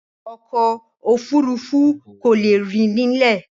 Ọkọ̀ òfurufú kò lè rìn nílẹ̀.